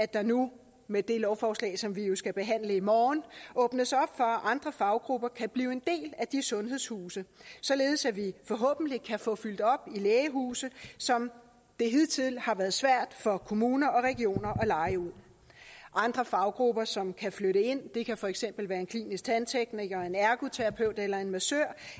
der nu med det lovforslag som vi jo skal behandle i morgen åbnes op for at andre faggrupper kan blive en del af de sundhedshuse således at vi forhåbentlig kan få fyldt op i lægehuse som det hidtil har været svært for kommuner og regioner at leje ud andre faggrupper som kan flytte ind kan for eksempel være en klinisk tandtekniker en ergoterapeut eller en massør